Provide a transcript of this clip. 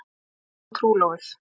Þau voru nýtrúlofuð.